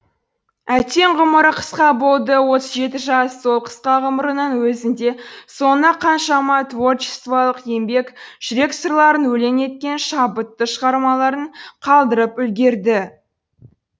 әттең ғұмыры қысқа болды отыз жеті жас сол қысқа ғұмырының өзінде соңына қаншама творчествалық еңбек жүрек сырларын өлең еткен шабытты шығармаларын қалдырып үлгерді